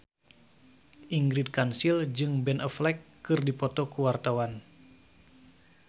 Ingrid Kansil jeung Ben Affleck keur dipoto ku wartawan